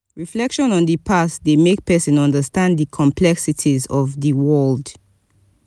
reflection on di past dey make pesin understand di complexities of di world.